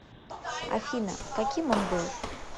афина каким он был